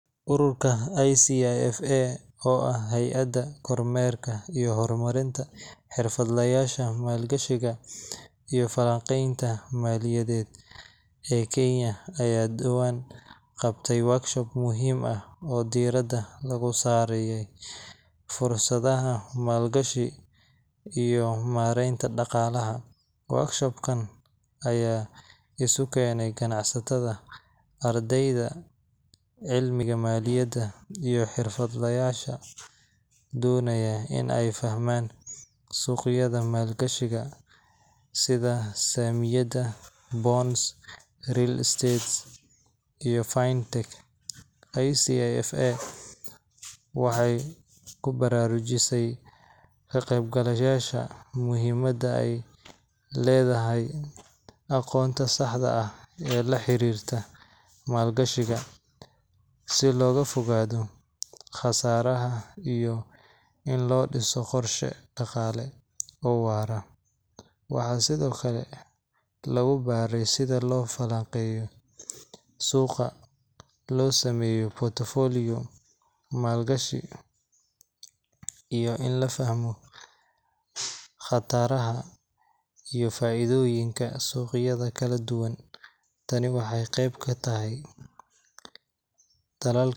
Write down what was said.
Ururka ICIFA, oo ah hay’adda kormeerka iyo horumarinta xirfadlayaasha maalgashiga iyo falanqaynta maaliyadeed ee Kenya, ayaa dhowaan qabtay workshop muhiim ah oo diiradda lagu saarayay fursadaha maalgashi iyo maaraynta dhaqaalaha. Workshop kan ayaa isu keenay ganacsatada, ardayda cilmiga maaliyadda, iyo xirfadlayaal doonaya in ay fahmaan suuqyada maalgashiga sida saamiyada, bonds, real estate, iyo fintech. ICIFA waxay ku baraarujisay ka qeybgalayaasha muhiimadda ay leedahay aqoonta saxda ah ee la xiriirta maalgashiga, si looga fogaado khasaaraha iyo in loo dhiso qorshe dhaqaale oo waara. Waxaa sidoo kale lagu baray sida loo falanqeeyo suuqa, loo sameeyo portfolio maalgashi, iyo in la fahmo khataraha iyo faa’iidooyinka suuqyada kala duwan. Tani waxay qeyb ka tahay.